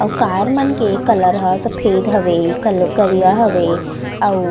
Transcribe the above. आऊ कार मन के कलर ह सफ़ेद हावे आऊ कल-- करिया हवे आऊ --